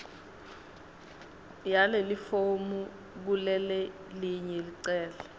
yalelifomu kulelelinye licele